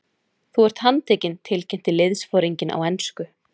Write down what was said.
Þú ert handtekinn tilkynnti liðsforinginn á ensku.